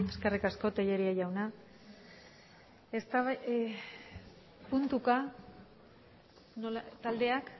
eskerrik asko tellería jauna puntuka taldeak